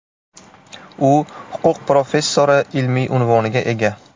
U huquq professori ilmiy unvoniga ega.